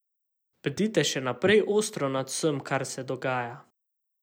Bdite še naprej ostro nad vsem, kar se dogaja.